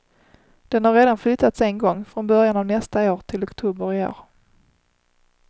Den har redan flyttats en gång, från början av nästa år till oktober i år.